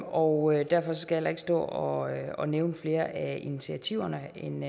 og derfor skal ikke stå og nævne flere af initiativerne end